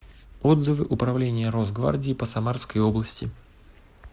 отзывы управление росгвардии по самарской области